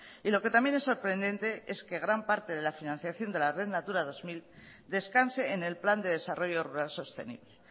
y lo que también es sorprendente es que gran parte de la financiación de la red natura dos mil descanse en el plan de desarrollo rural sostenible